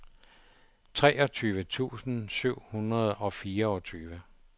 treogtyve tusind syv hundrede og fireogtyve